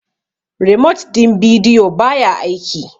remote din video ba ya aiki